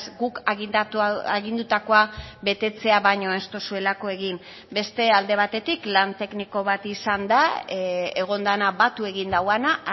guk agindutakoa betetzea baino ez duzuelako egin beste alde batetik lan tekniko bat izan da egon dena batu egin duena